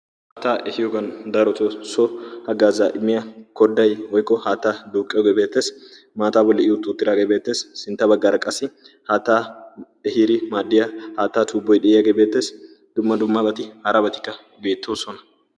haattaa ehiyogan darotoo hagzzaa immiya koday haatta duuqiyogee beettes. sintta bagaara qassi haatta ehiyoge beettes, ddumma dumma hara batikka de'oososna.